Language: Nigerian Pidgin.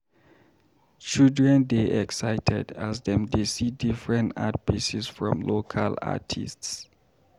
Children dey excited as dem dey see different art pieces from local artists.